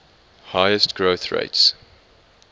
highest growth rates